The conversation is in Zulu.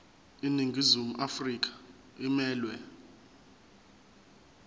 iningizimu afrika emelwe